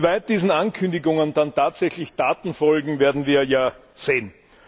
Inwieweit diesen Ankündigungen dann tatsächlich Taten folgen, werden wir ja sehen.